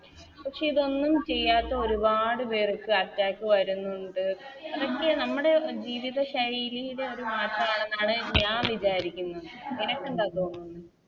പക്ഷെ ഇതൊന്നും ചെയ്യാത്ത ഒരുപാട് പേർക്ക് Attack വരുന്നുണ്ട് ത് നമ്മുടെ ജീവിത ശൈലീടെ ഒരു മാറ്റാണെന്നണ് ഞാൻ വിചാരിക്കുന്നത് നിനക്ക് എന്താ തോന്നുന്നത്